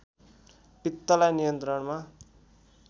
पित्तलाई नियन्त्रणमा